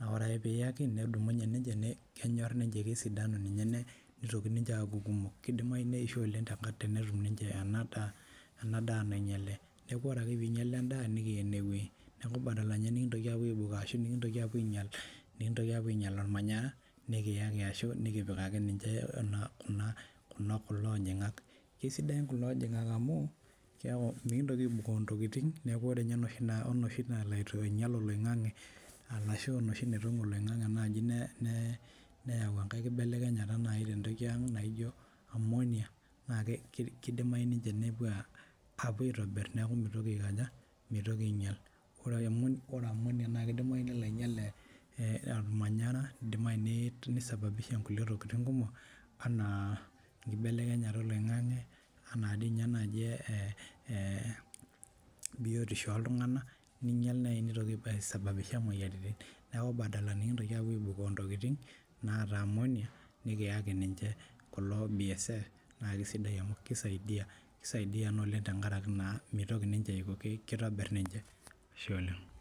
aa ore ake piiyaki kedumunye ake nejo kenyorr ninche kesidanu ninye neitoki aaku kumok keidimayu neisho oleng' tenetum ninche ena daa nainyale neeku ore ake piinyala endaa nikiyaa ene wei neeku badala inye nekipuo aibukoo ashuu mikintoki apuo ainyal olmanyara nikiyaki aashu nukipikaki ninche naa kulo ojong'ak kesidan kulo ojong'ak amu keeku mekintoki aibukoo intokiting' neeku ore inye enoshi nalo ainyal oloing'ang'e arashu enoshii naitong'u oloing'ang'e neyau enkae kibelelekenyata nayii tentoki ang' naijo ammonia naa keidimayu ninche nepuoo apuo aitobirr amu meitoki ainyal ore ammonia naa keidimayu nelo ainyal ormanyara neidimayu nei sababisha inkulie tokiting' kumok enaa enkibelekenyata oloing'ang'e enaa dii nye naaji biyotisho ooltung'anak ninyal nayii neitoki ai sababisha imoyiaritin neeku badala nekintoki aapuo aibukoo intokiting' naata ammonia nikiyaki ninche kulo bsf naa kesidai amuu keisaidia keisaidia naa oleng' tenkaraki naa mitoki ninche aiko keitobirr ninche, ashe oleng'.